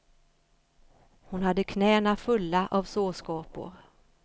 Hon hade knäna fulla av sårskorpor.